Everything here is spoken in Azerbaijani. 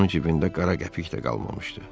Onun cibində qara qəpik də qalmamışdı.